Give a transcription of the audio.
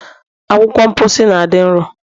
Akwụkwọ mposi na dị nro